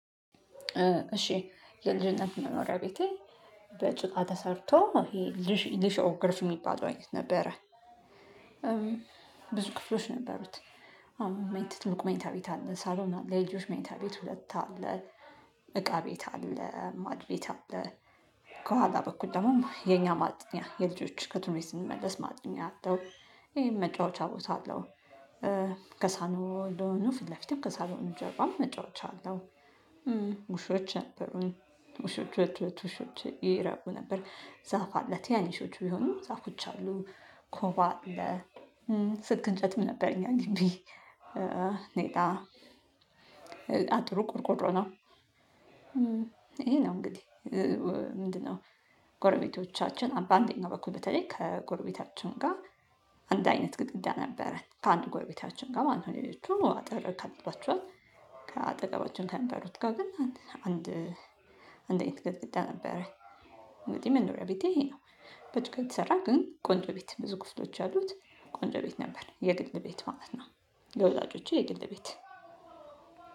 እሺ የልጅነት መኖሪያ ቤቴ በጭቃ ተሰርቶ ይሄ ሊሾ ሊሾ ግርፍ የሚባለው አይነት ነበረ። ብዙ ክፍሎች ነበሩት። አዎ ትልቁ መኝታቤት አለ ሳሎን አለ የልጆች መኝታ ቤት ሁለት አለ። እቃ ቤት አለ ማድቤት አለ። ከኋላ በኩል ደግሞ የኛ ማጥኛ የልጆች ከትምህርት ቤት ስንመለስ ማጥኛ አለው። ይሄን መጫወቻ ቦታ አለው። ከሳሎን እንደሆኑ ፊት ለፊትም ከሳሎኑ እንደሆኑ ጀርባም መጫወቻ አለው። ውሾችን ውሾች ውሾች ይራቡ ነበር። ዛፍ አለ ቲናንሾች ቢሆኑም ዛፎች አሉ። ኮባ አለ። ስክ እንጨትም ነበር እኛ ግቢ— ኔጣ አጥሩ ቆርቆሮ ነው። ይሄ ነው እንግዲህ ምንድነው? ጎረቤቶቻችን በአንዴኛው በኩል በተለይ ከጎረቤታችን ጋር አንድ አይነት ግድግዳ ነበረን ከአንድ ጎረቤታችን ጋር ማንኛውም ሌሎች አጥር ከልሏቸዋል። ከአጠገባችን ከምኖሩት ጋር ግን አንድ አይነት ገጥግዳ ነበረ። እንግዲህ መኖሪያ ቤቴ ይሄ ነው። በትክልት ይሰራል ግን ቆንጆ ቤት ብዙ ከብቶች ያሉት ቆንጆ ቤት ነበር የግል ቤት ማለት ነው። ለወዳጆቼ የግል ቤት